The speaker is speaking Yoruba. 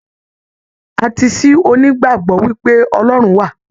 Atiisi o n'igbagbọ wipe Ọlọrun wa.